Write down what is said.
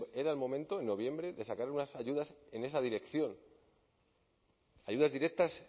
que era el momento en noviembre de sacar unas ayudas en esa dirección ayudas directas